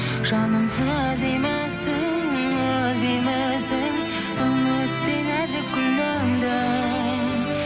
жаным іздеймісің үзбеймісің үміттей нәзік гүліңді